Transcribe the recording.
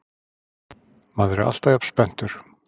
Maður er alltaf jafn spenntur